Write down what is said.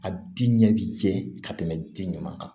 A di ɲɛ bi jɛ ka tɛmɛ di ɲuman kan